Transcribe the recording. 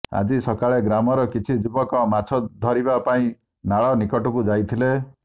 ଆଜି ସକାଳେ ଗ୍ରାମର କିଛି ଯୁବକ ମାଛ ଧରିବା ପାଇଁ ନାଳ ନିକଟକୁ ଯାଇଥିଲେ